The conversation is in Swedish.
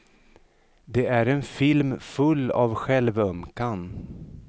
Det är en film full av självömkan.